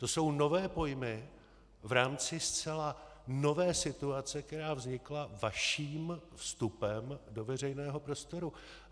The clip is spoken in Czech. To jsou nové pojmy v rámci zcela nové situace, která vznikla vaším vstupem do veřejného prostoru.